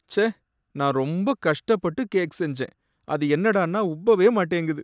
ச்சே, நான் ரொம்ப கஷ்டப்பட்டு கேக் செஞ்சேன், அது என்னடான்னா உப்பவே மாட்டேங்குது.